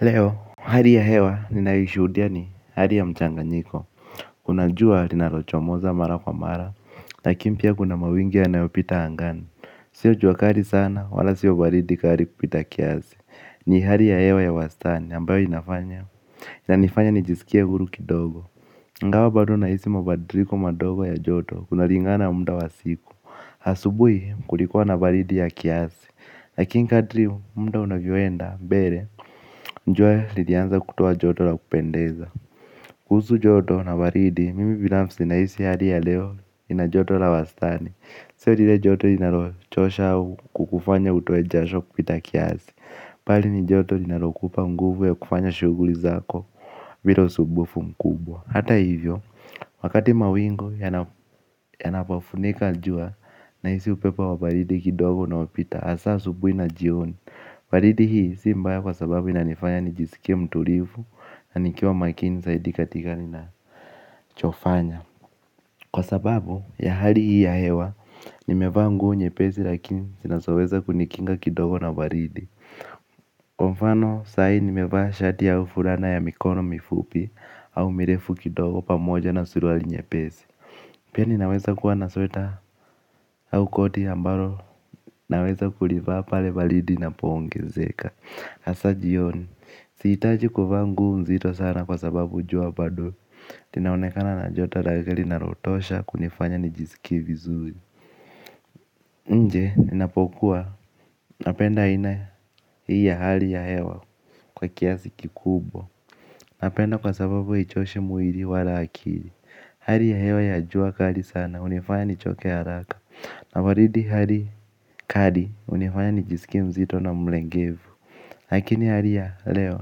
Leo, hali ya hewa, ninayoishuhudia ni hali ya mchanganyiko, kuna jua linalochomoza mara kwa mara, lakini pia kuna mawingu yanayopita angani, sio jua kali sana, wala sio baridi kali kupita kiasi, ni hali ya hewa ya wastani ambayo inafanya, inanifanya nijisikie huru kidogo, ingawa bado nahisi mabadiliko madogo ya joto, kunalingana muda wa siku. Asubuhi kulikuwa na baridi ya kiasi lakini kadri muda unavyoenda mbele jua lilianza kutia joto la kupendeza kuhusu joto na baridi mimi binafsi nahisi hali ya leo ina joto la wastani. Sio lile joto linalochosha au kukufanya utoe jasho kupita kiasi bali ni joto linalokupa nguvu ya kufanya shughuli zako bila usumbufu mkubwa. Hata hivyo. Wakati mawingu yanapafunika jua, nahisi upepo wa baridi kidogo unaopita hasa asubuhi na jioni. Baridi hii si mbaya kwa sababu inanifanya nijisikie mtulivu na nikiwa makini zaidi katika ninachofanya. Kwa sababu ya hali hii ya hewa nimevaa nguo nyepesi lakini zinazoweza kunikinga kidogo na baridi. Kwa mfano saa hii nimevaa shati au fulana ya mikono mifupi au mirefu kidogo pamoja na suruali nyepesi. Pia ninaweza kuwa na sweta au koti ambalo naweza kulivaa pale baridi inapoongezeka hasa ji oni, sihitaji kuvaa nguo mzito sana kwa sababu jua bado ati naonekana na jota ragali na lotosha kunifanya nijisikie vizuri. Nje, ninapokuwa, napenda aina hii ya hali ya hewa kwa kiasi kikubwa. Napenda kwa sababu haichoshi mwili wala akili hali ya hewa ya jua kali sana hunifanya nichoke haraka. Na baridi kali hunifanya nijisikia mzito na mlengevu. Lakini hali ya leo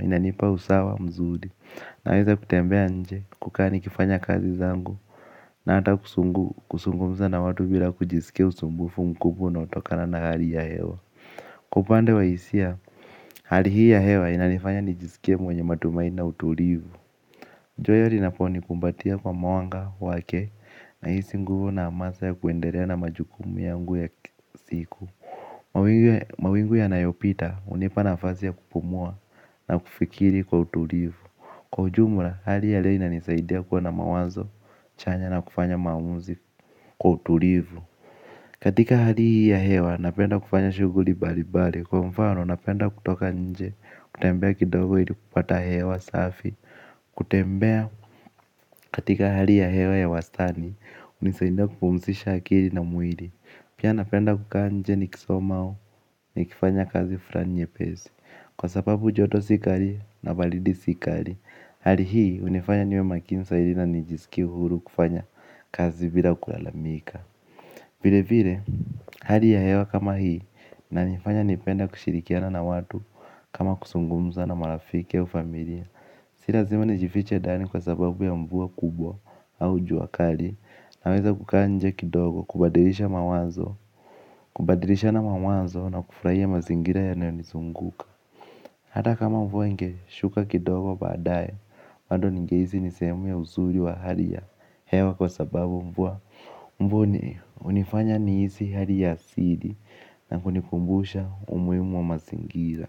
inanipa usawa mzuri nawezakutembea nje kukaa nikifanya kazi zangu. Na ata kuzungumza na watu bila kujisikia usumbufu mkubwa unaotokana na hali ya hewa. Kwa upande wa hisia, hali hii ya hewa inalifanya nijisikie mwenye matumaini na utulivu. Joto linaponi kumbatia kwa mawanga wake. Na hisi nguvu na amasa ya kuendelea na majukumu yangu ya kila siku. Mawingu yanayopita, hunipana nafasi ya kupumua na kufikiri kwa utulivu. Kwa ujumla, hali ya leo inanisaidia kuwa na mawazo, chanya na kufanya maamuzi kwa utulivu. Katika hali ya hewa, napenda kufanya shughuli mbalimbali. Kwa mfano, napenda kutoka nje, kutembea kidogo ili kupata hewa safi. Kutembea katika hali ya hewa ya wastani, hunisaidia kupumzisha akili na mwili. Pia napenda kukaa nje nikisoma au nikifanya kazi fulani nyepesi. Kwa sababu joto si kali na baridi si kali. Hali hii hunifanya niwe makini na nijisikie huru kufanya kazi bila kulalamika vile vile, hali ya hewa kama hii inanifanya nipende kushirikiana na watu kama kuzungumza na maafiki ya ufamilia. Si lazima nijifiche ndani kwa sababu ya mvua kubwa au jua kali. Naweza kukaa nje kidogo kubadilisha mawazo. Kubadilishana mawazo na kufurahia mazingira yanayonizunguka. Hata kama mvua ingeshuka kidogo baadaye bado ningehisi ni sehemu ya uzuri wa hali ya hewa kwa sababu mvua hunifanya nihisi hali ya sidi. Na kunikumbusha umuhimu wa mazingira.